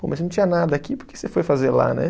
Pô, mas se não tinha nada aqui, por que você foi fazer lá, né?